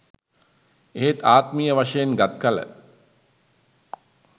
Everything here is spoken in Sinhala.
එහෙත් ආත්මීය වශයෙන් ගත් කළ